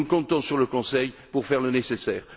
Nous comptons sur le Conseil pour faire le nécessaire.